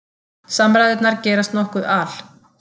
Samræðurnar gerast nokkuð al